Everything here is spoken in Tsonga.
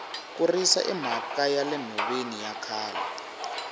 ku risa i mhaka yale nhoveni ya khale